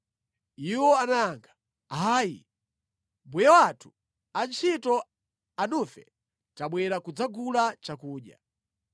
Iwo anayankha, “Ayi mbuye wathu, antchito anufe tabwera kudzagula chakudya.